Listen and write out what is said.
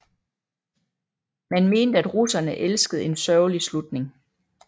Man mente at russerne elskede en sørgelig slutning